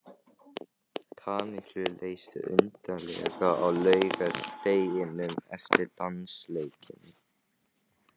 Kamillu leið undarlega á laugardeginum eftir dansleikinn.